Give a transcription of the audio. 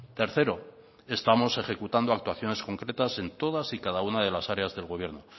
tercero estamos ejecutando actuaciones concretas en todas y cada una de las áreas del gobierno